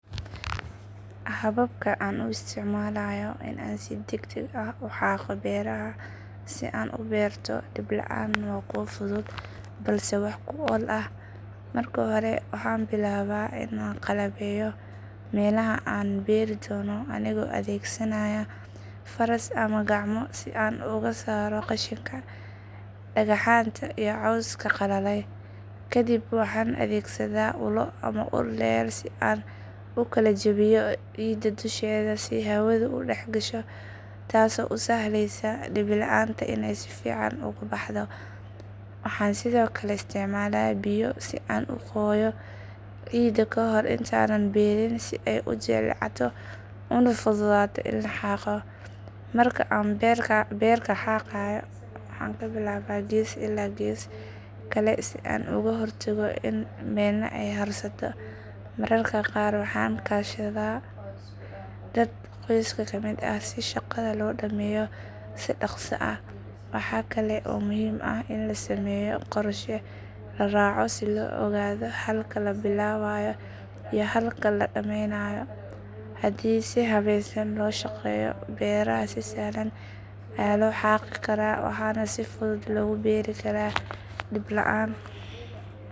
Hababka aan u isticmaalayo in aan si degdeg ah u xaaqo beeraha si aan u beerto dibi laan waa kuwa fudud balse wax ku ool ah. Marka hore waxaan bilaabaa in aan qalabeeyo meelaha aan beeri doono anigoo adeegsanaya faras ama gacmo si aan uga saaro qashinka, dhagaxaanta iyo cawska qalalay. Kadib waxaan adeegsadaa ulo ama ul dheer si aan u kala jebiyo ciidda dusheeda si hawadu u dhex gasho, taasoo u sahlaysa dibi laanta inay si fiican ugu baxdo. Waxaan sidoo kale isticmaalaa biyo si aan u qoyeyo ciidda ka hor intaanan beerin si ay u jilcato una fududaato in la xaaqo. Marka aan beerka xaaqayo waxaan ka bilaabaa gees ilaa gees kale si aan uga hortago in meelna ay harsato. Mararka qaar waxaan kaashadaa dad qoyska ka mid ah si shaqada loo dhameeyo si dhakhso ah. Waxa kale oo muhiim ah in la sameeyo qorshe la raaco si loo ogaado halka la bilaabayo iyo halka la dhammaynayo. Haddii si habaysan loo shaqeeyo, beeraha si sahlan ayaa loo xaaqi karaa waxaana si fudud loogu beeri karaa dibi laan.